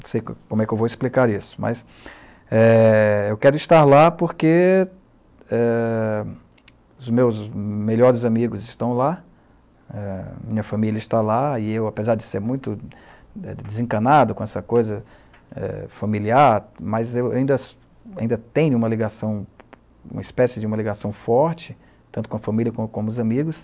Não sei como, como é que eu vou explicar isso, mas eu quero estar lá porque eh, os meus melhores amigos estão lá, eh, minha família está lá e eu, apesar de ser muito desencanado com essa coisa eh familiar,, mas eu ainda ainda tenho uma ligação, uma espécie de uma ligação forte, tanto com a família como com os amigos.